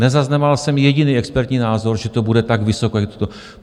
Nezaznamenal jsem jediný expertní názor, že to bude tak vysoko, jak je to.